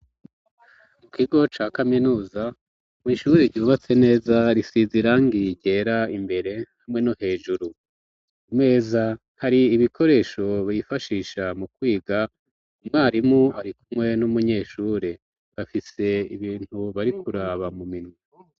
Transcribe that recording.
Mu kigo ca kaminuza mw'ishure ryubatse neza risize irangi ryera imbere hamwe no hejuru, ku meza hari ibikoresho bifashisha mu kwiga, umwarimu arikumwe n'umunyeshure bafise ibintu barikuraba mu minwe.